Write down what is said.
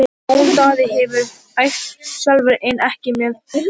Jón Daði hefur æft sjálfur en ekki með hópnum.